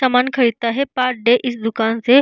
सामान खरीदता है पर डे इस दूकान से।